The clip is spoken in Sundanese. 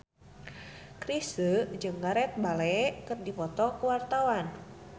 Chrisye jeung Gareth Bale keur dipoto ku wartawan